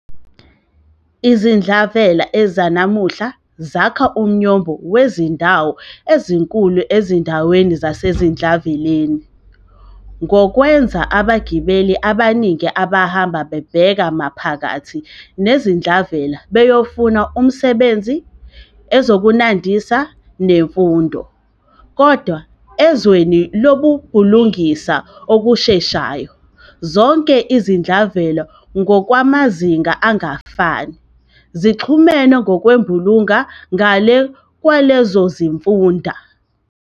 Izidlavela zanamuhla zakha umnyombo wezindawo ezinkulu nezindawo zasezidlaveleni -ngokwenz abagebeli abaningi abahamba bebheke maphakathi nesidlavela beyofuna umsebenzi, ezokuzinandisa, nemfundo. Kodwa, ezweni lokubhulungisa okusheshayo, zonke izidlavela ngokwamazinga angafani, zixhumene ngokwembulunga ngale kwalezo zifunda.